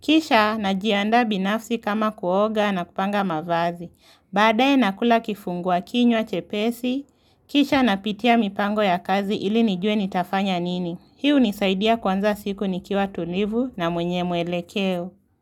Kisha na jianda binafsi kama kuoga na kupanga mavazi. Baadae nakula kifungua kinywa chepesi. Kisha napitia mipango ya kazi ili nijue nitafanya nini. Hii hunisaidia kuanza siku nikiwa tulivu na mwenye mwelekeo.